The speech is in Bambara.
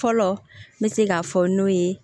Fɔlɔ n bɛ se k'a fɔ n'o ye